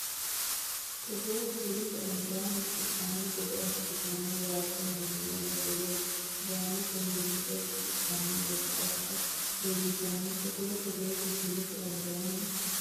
Togoo kifilete albaanni shiqishshanno gede assantenni waaxote miili ledo woy gaamote mimmitoho shiqishshanno gede assa woyyitanno Togoo Togoo kifilete albaanni.